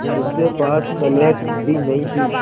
उसके पास स्लेट भी नहीं थी